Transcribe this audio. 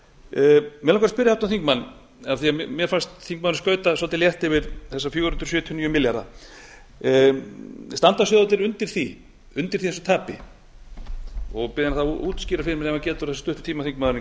mig langar að spyrja háttvirtan þingmann af því að mér fannst þingmaðurinn skauta svolítið létt yfir þessa fjögur hundruð sjötíu og níu milljarða standa sjóðirnir undir þessu tapi og bið hann þá að útskýra fyrir mér ef hann getur það á þessum stutta tíma